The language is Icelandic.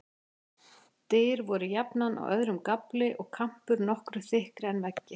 Dyr voru jafnan á öðrum gafli, og kampur nokkru þykkri en veggir.